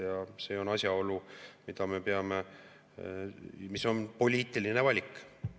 Ja see on asjaolu, mis on poliitiline valik.